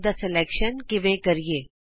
type ਕਰਨ ਲਈ ਭਾਸ਼ਾ ਦੀ ਚੋਣ ਕਿਵੇਂ ਕਰੀਏ